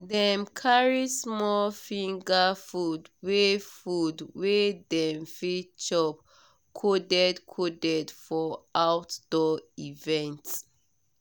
dem carry small finger food wey food wey dem fit chop coded coded for outdoor event.